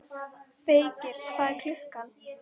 Feykir, hvað er klukkan?